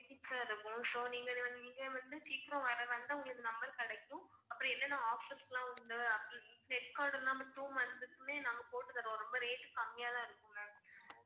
Benefits லா இருக்கும் so நீங்க வந்து நீங்க வந்து சீக்கிரம் வர்ரதா இருந்தா உங்களுக்கு number கிடைக்கும் அப்புறம் என்னென்ன offers லாம் உண்டு அப்புறம் net card ல்லாம் two months க்குமே நாங்க போட்டு தருவோம் ரொம்ப rate கம்மியா தான் இருக்கும் ma'am